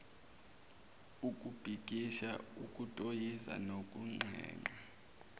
ukubhikisha ukutoyiza nokunxenxa